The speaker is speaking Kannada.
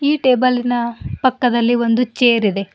ಈ ಟೇಬಲಿನ ಪಕ್ಕದಲ್ಲಿ ಒಂದು ಚೇರ್ ಇದೆ.